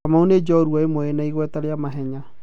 Kamau ni njorua ĩmwe yĩna igweta rĩa mahenya.